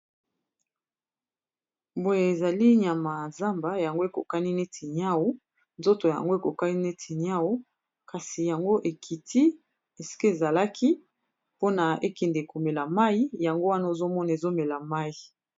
boye ezali nyama ya zamba yango ekokani neti niau nzoto yango ekokani neti niau kasi yango ekiti esiki ezalaki pona ekende komela mai yango wana ozomona ezomela mai